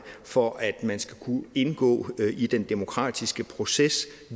for at man skal kunne indgå i den demokratiske proces